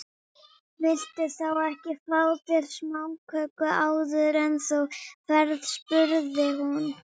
Viltu þá ekki fá þér smáköku áður en þú ferð spurði hún.